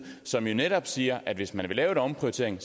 som jo netop siger at hvis man vil lave en omprioritering